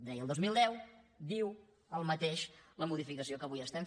deia el dos mil deu diu el mateix la modificació que avui fem